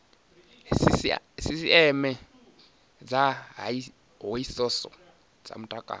sisieme dza hoisiso dza mutakalo